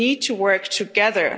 said. We need to work together.